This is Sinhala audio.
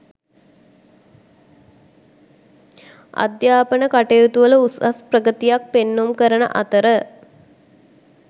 අධ්‍යාපන කටයුතුවල උසස් ප්‍රගතියක් පෙන්නුම් කරන අතර